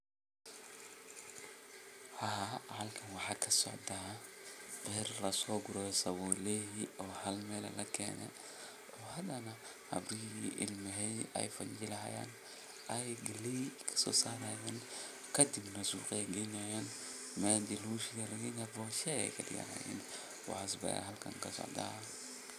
Haa halkan waxa kasocda beer lasogure sabulihi oo hal Mel ah lakeene hadana habrihi iyo ilmehedi eey fajili hayaan aay galeey kasosarayan kadibna suuqa genayan meel lugushido aya lageyna bosha aya lagadiga waxa ay halkan kasocda.